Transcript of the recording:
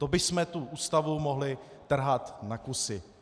To bychom tu Ústavu mohli trhat na kusy.